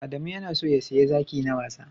Adamu ya na so ya siya zaki na wasa